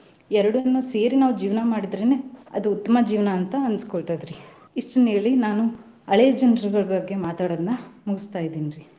ಏರ್ಡನ್ನು ಸೇರಿ ನಾವ್ ಜೀವ್ನ ಮಾಡಿದ್ರೆನೆ ಅದ್ ಉತ್ಮ ಜೀವ್ನ ಅಂತ ಅನಸ್ಕೊತೆತ್ರಿ ಇಷ್ಟನ್ನ ಹೇಳಿ ನಾನು ಹಳೆ ಜನ್ರಗಳ್ ಬಗ್ಗೆ ಮಾತಾಡೋದನ್ನ ಮುಗಸ್ತಾ ಇದಿನ್ರಿ.